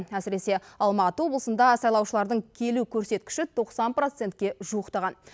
әсіресе алматы облысында сайлаушылардың келу көрсеткіші тоқсан процентке жуықтаған